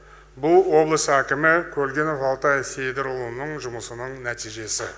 бұл облыс әкімі көлгінов алтай сейдірұлының жұмысының нәтижесі